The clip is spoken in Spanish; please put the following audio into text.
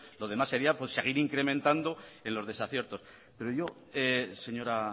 lo demás sería seguir incrementando en los desaciertos pero yo señora